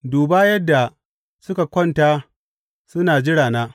Duba yadda suka kwanta suna jirana!